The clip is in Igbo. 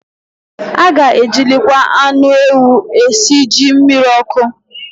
A ga-ejilikwa anụ ewu esi jí mmiriọkụ